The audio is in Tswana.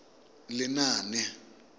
lenaane